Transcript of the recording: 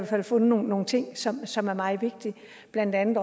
fald fundet nogle ting som som er meget vigtige blandt andet